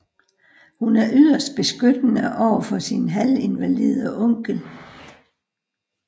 Hun er yderst beskyttende over for sin halvinvalide onkel